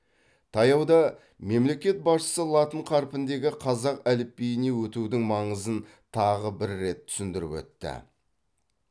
таяуда мемлекет басшысы латын қарпіндегі қазақ әліпбиіне өтудің маңызын тағы бір да рет түсіндіріп өтті